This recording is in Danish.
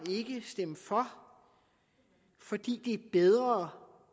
stemme for fordi det er bedre